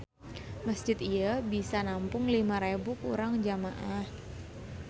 Masjid ieu bisa nampung lima rebu urang jamaah.